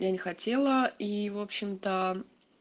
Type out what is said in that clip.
я не хотела и в общем-то